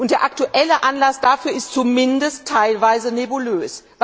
Der aktuelle Anlass dafür ist zumindest teilweise nebulös.